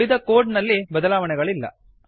ಉಳಿದ ಕೋಡ್ ನಲ್ಲಿ ಬದಲಾವಣೆಯಿಲ್ಲ